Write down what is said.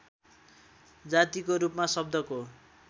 जातिको रूपमा शब्दको